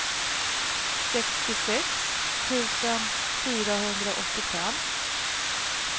sextiosex tusen fyrahundraåttiofem